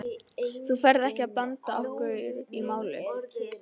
Þú ferð ekkert að blanda okkur í málið?